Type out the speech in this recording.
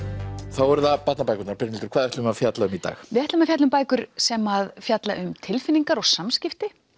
þá eru það barnabækurnar Brynhildur hvað ætlum við að fjalla um í dag við ætlum að fjalla um bækur sem fjalla um tilfinningar og samskipti